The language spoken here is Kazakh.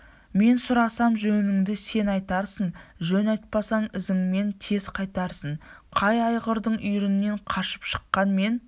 мен сұрасам жөніңді сен айтарсың жөн айтпасаң ізіңмен тез қайтарсың қай айғырдың үйірінен қашып шыққан мен